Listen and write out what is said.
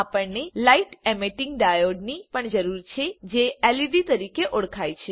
આપણને light emitting diode ની પણ જરૂર છે જે લેડ તરીકે ઓળખાય છે